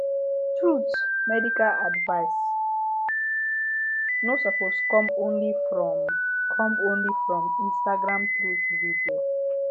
truth medical advice no suppose come only from come only from instagram truth video